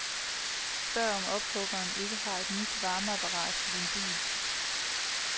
Spørg om ophuggeren ikke har et nyt varmeapparat til din bil.